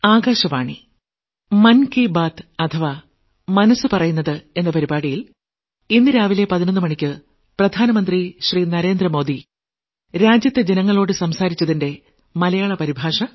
പ്രക്ഷേപണത്തിന്റെ മലയാള പരിഭാഷ